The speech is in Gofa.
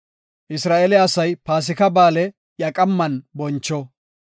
“Isra7eele asay Paasika Ba7aale iya qamman boncho.